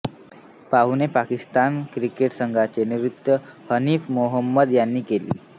पाहुण्या पाकिस्तान क्रिकेट संघाचे नेतृत्व हनीफ मोहम्मद यांनी केले